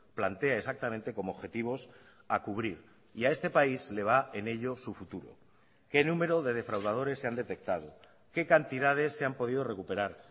plantea exactamente como objetivos a cubrir y a este país le va en ello su futuro qué número de defraudadores se han detectado qué cantidades se han podido recuperar